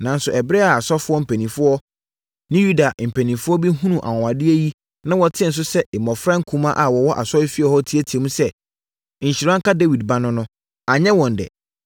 Nanso, ɛberɛ a asɔfoɔ mpanin ne Yudafoɔ mpanin bi hunuu anwanwadeɛ yi na wɔtee nso sɛ mmɔfra nkumaa a wɔwɔ asɔrefie hɔ reteateam sɛ, “Nhyira nka Dawid Ba no” no, anyɛ wɔn dɛ.